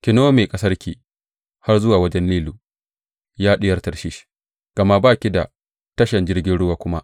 Ki nome ƙasarki har zuwa wajen Nilu, Ya Diyar Tarshish, gama ba ki da tashan jirgin ruwa kuma.